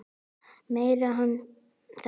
Meinar hann þetta?